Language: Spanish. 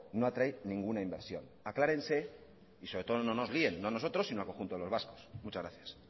no atrae ninguna inversión aclárense y sobre todo no nos líen no a nosotros sino al conjunto de los vascos muchas gracias